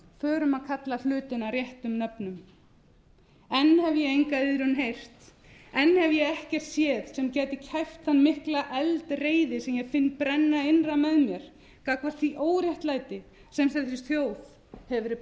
förum að kalla hlutina réttum nöfnum enn hef ég enga iðrun heyrt enn hef ég ekkert séð sem gæti kæft þá miklu eldreiði sem ég finn brenna innra með mér gagnvart því óréttlæti sem þessi þjóð hefur verið